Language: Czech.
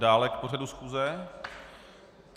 Dále k pořadu schůze?